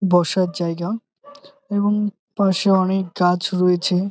বসার জায়গা এবং পাশে অনেক গাছ রয়েছে ।